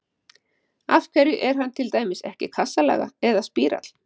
Af hverju er hann til dæmis ekki kassalaga eða spírall?